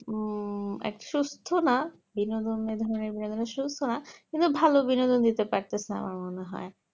উম এক সুস্থ না বিনোদনের শুকনা কিন্তু ভালো বিনোদন দিতে পারতেছে আমার মনে হয়